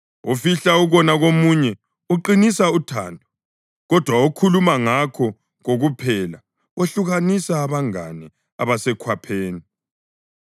Ofihla ukona komunye uqinisa uthando, kodwa okhuluma ngakho kokuphela wehlukanisa abangane abasekhwapheni.